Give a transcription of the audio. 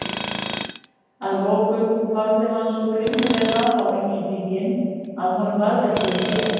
Að lokum horfði hann svo grimmilega á Englendinginn að honum varð ekki um sel.